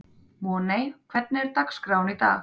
Voney, hvernig er dagskráin í dag?